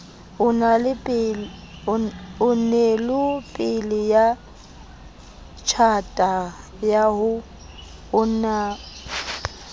onelopele ya tjhata ya ho